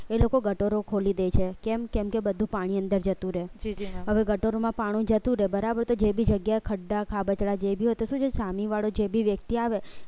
એ લોકો ગટોરો ખોલી દે છે કેમ કેમ કે બધું પાણી અંદર જતું રહે છે હવે ગટોરો પાણી જતું રે બરાબર તો જે બી જગ્યાએ ખડા ખાબોચિયા હોય તો શું છે સામે વાળો જે બી વ્યક્તિ આવે